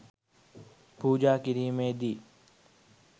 පූජා කිරීමේදී